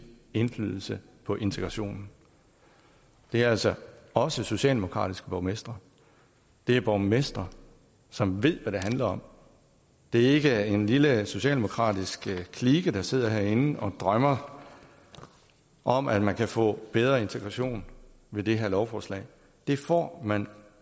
indflydelse på integrationen det er altså også socialdemokratiske borgmestre det er borgmestre som ved hvad det handler om det er ikke en lille socialdemokratisk klike der sidder herinde og drømmer om at man kan få bedre integration med det her lovforslag det får man